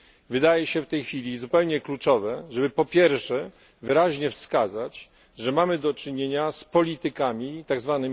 Wydaje się w tej chwili zupełnie kluczowe, żeby po pierwsze wyraźnie wskazać, że mamy do czynienia z politykami tzw.